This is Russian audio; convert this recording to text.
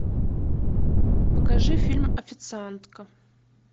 покажи фильм официантка